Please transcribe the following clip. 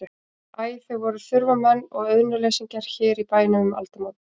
Æ, þau voru þurfamenn og auðnuleysingjar hér í bænum um aldamót.